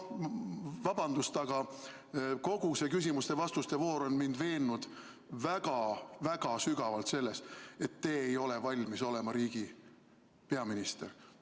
Vabandust, aga kogu see küsimuste-vastuste voor on mind veennud väga-väga sügavalt selles, et te ei ole valmis olema riigi peaminister.